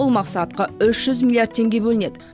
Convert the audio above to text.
бұл мақсатқа үш жүз миллиард теңге бөлінеді